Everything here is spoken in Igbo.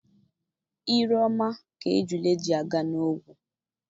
Ire ọma ka ejule ji aga n' ogwu